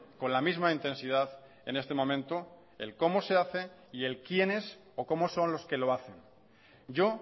con la misma intensidad en este momento el cómo se hace y el quiénes o cómo son los que lo hacen yo